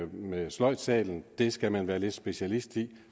med sløjdsalen skal man være lidt specialist i